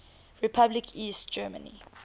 republic east germany